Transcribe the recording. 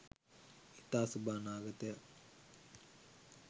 ඉතා සුබ අනාගතයක්